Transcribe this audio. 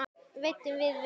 Veiddum við vel.